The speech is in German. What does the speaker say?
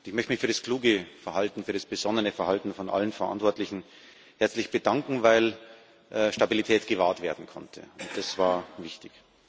Ich möchte mich für das kluge Verhalten, für das besonnene Verhalten aller Verantwortlichen herzlich bedanken, weil Stabilität gewahrt werden konnte, und das war wichtig.